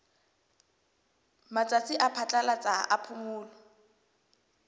matsatsi a phatlalatsa a phomolo